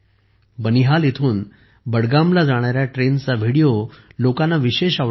बनिहालहून बडगामला जाणाऱ्या ट्रेनचा व्हिडिओ तर लोकांना विशेष आवडत आहे